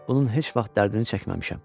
bunun heç vaxt dərdini çəkməmişəm.